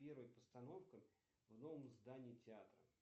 первая постановка в новом здании театра